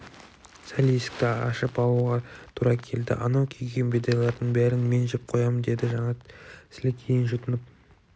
сәл есікті ашып алуға тура келді анау күйген бидайлардың бәрін мен жеп қоям деді жанат сілекейін жұтынып